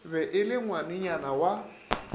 be e le ngwanenyana wa